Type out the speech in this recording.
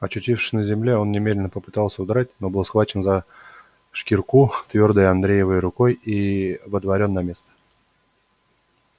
очутившись на земле он немедленно попытался удрать но был схвачен за шкирку твёрдой андреевой рукой и водворён на место